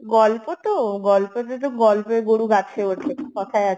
গল্প তো, গল্পতে তো গল্পের গরু গাছে ওঠে কথায় আছে